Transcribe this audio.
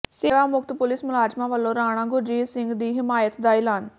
ਸੇਵਾ ਮੁਕਤ ਪੁਲਿਸ ਮੁਲਾਜ਼ਮਾਂ ਵੱਲੋਂ ਰਾਣਾ ਗੁਰਜੀਤ ਸਿੰਘ ਦੀ ਹਮਾਇਤ ਦਾ ਐਲਾਨ